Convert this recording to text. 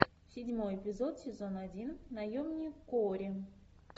седьмой эпизод сезон один наемник куорри